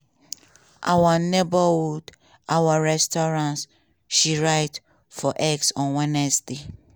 our neighborhood our restaurants" she write for x on wednesday.